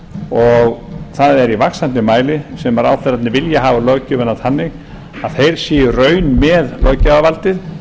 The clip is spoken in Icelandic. og það er í vaxandi mæli sem ráðherrarnir vilja hafa löggjöfina þannig að þeir séu í raun með löggjafarvaldið